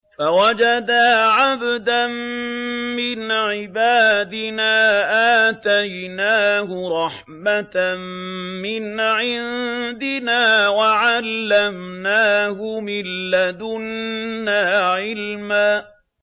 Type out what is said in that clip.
فَوَجَدَا عَبْدًا مِّنْ عِبَادِنَا آتَيْنَاهُ رَحْمَةً مِّنْ عِندِنَا وَعَلَّمْنَاهُ مِن لَّدُنَّا عِلْمًا